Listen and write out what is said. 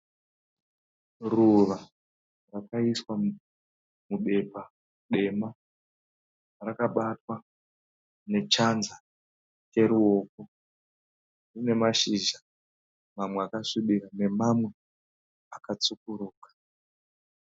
Ruva rakaiswa mubepa dema. Rakabatwa nechanza cheruoko. Rine mashizha mamwe akasvibira nemamwe akatsvukuruka.